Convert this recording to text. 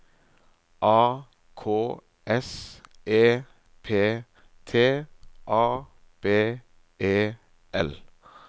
A K S E P T A B E L